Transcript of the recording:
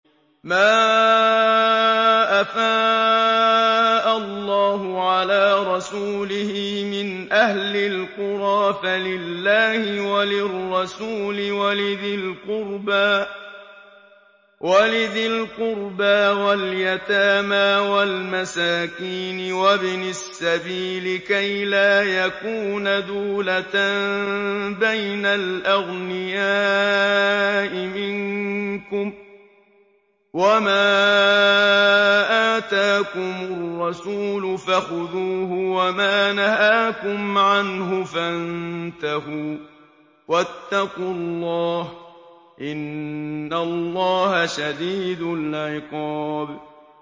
مَّا أَفَاءَ اللَّهُ عَلَىٰ رَسُولِهِ مِنْ أَهْلِ الْقُرَىٰ فَلِلَّهِ وَلِلرَّسُولِ وَلِذِي الْقُرْبَىٰ وَالْيَتَامَىٰ وَالْمَسَاكِينِ وَابْنِ السَّبِيلِ كَيْ لَا يَكُونَ دُولَةً بَيْنَ الْأَغْنِيَاءِ مِنكُمْ ۚ وَمَا آتَاكُمُ الرَّسُولُ فَخُذُوهُ وَمَا نَهَاكُمْ عَنْهُ فَانتَهُوا ۚ وَاتَّقُوا اللَّهَ ۖ إِنَّ اللَّهَ شَدِيدُ الْعِقَابِ